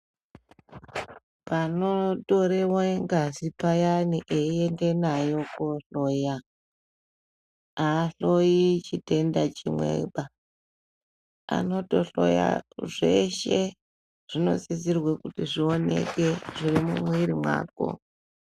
Panotorewe ngazi payani einde nayo kohloya aahloyi chitenda chimweba anotohloya zveshe zvinosisirwe kuti zvioneke zviri mumwiri mwako .